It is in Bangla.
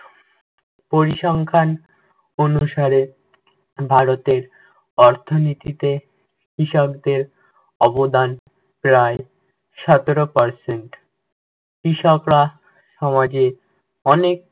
পরিসংখ্যান অনুসারে ভারতের অর্থনিতীতে কৃষকদের অবদান প্রায় সতেরো percent কৃষকরা সমাজের অনেক